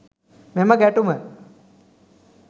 මෙම ගැටුම